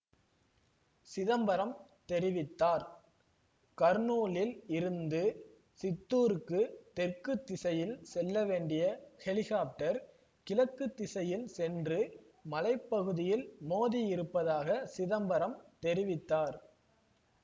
சிதம்பரம் தெரிவித்தார் கர்னூலில் இருந்து சித்தூருக்கு தெற்கு திசையில் செல்ல வேண்டிய ஹெலிகாப்டர் கிழக்கு திசையில் சென்று மலை பகுதியில் மோதியிருப்பதாக சிதம்பரம் தெரிவித்தார்